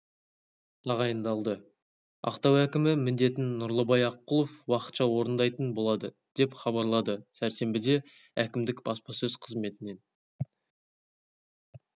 тағайындалды ақтау әкімі міндетін нұрлыбай аққұлов уақытша орындайтын болады деп хабарлады сәрсенбіде әкімдік баспасөз қызметінен